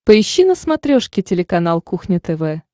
поищи на смотрешке телеканал кухня тв